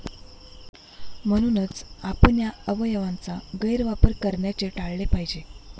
म्हणूनच, आपण या अवयवयांचा गैरवापर करण्याचे टाळले पाहिजे.